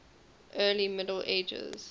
early middle ages